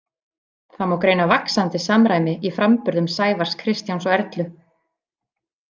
Það má greina vaxandi samræmi í framburðum Sævars, Kristjáns og Erlu.